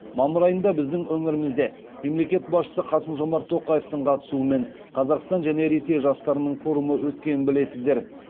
мамыр айында біздің өңірімізде мемлекет басшысы қасым жомарт тоқаевтың қатысуымен қазақстан және ресей жастарының форумы өткенін білесіздер